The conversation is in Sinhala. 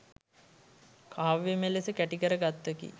කාව්‍යමය ලෙස කැටිකර ගත්තකි.